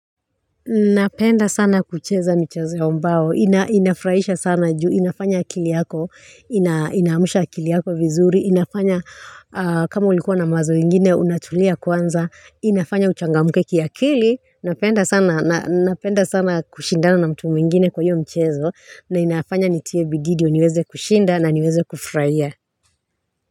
Napenda sana kucheza michezo ya mbao, inafurahisha sana juu inafanya akili yako ina inaamsha akili yako vizuri, inafanya kama ulikuwa na mawazo ingine, unatulia kwanza, inafanya uchangamke kiakili, napenda sana napenda sana kushindana na mtu mwingine kwa hiyo mchezo, na inafanya nitie bidii ndiyo niweze kushinda na niweze kufurahia.